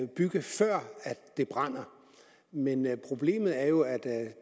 bygge før det brænder men problemet er jo at